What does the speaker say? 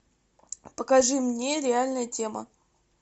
покажи мне реальная тема